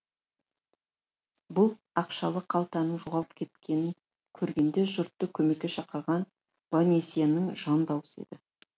бұл ақшалы қалтаның жоғалып кеткенін көргенде жұртты көмекке шақырған бонасьенің жан даусы еді